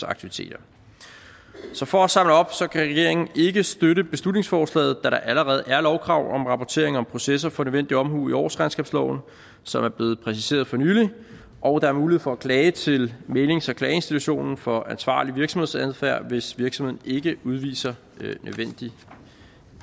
aktiviteter så for at samle op regeringen kan ikke støtte beslutningsforslaget da der allerede er lovkrav om rapportering om processer for nødvendig omhu i årsregnskabsloven som er blevet præciseret for nylig og der er mulighed for at klage til mæglings og klageinstitutionen for ansvarlig virksomhedsadfærd hvis virksomheden ikke udviser nødvendig